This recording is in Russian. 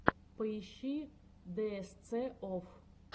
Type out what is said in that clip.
поищи дээсце офф